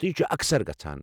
تہٕ یہِ چھُ اکثر گژھان۔